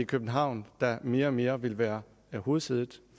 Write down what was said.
københavn der mere og mere vil være hovedsædet